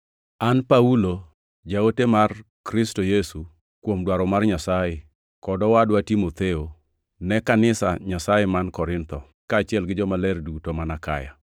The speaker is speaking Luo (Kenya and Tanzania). An Paulo, jaote mar Kristo Yesu kuom dwaro mar Nyasaye; kod owadwa Timotheo, Ne kanisa Nyasaye man Korintho, kaachiel gi jomaler duto man Akaya: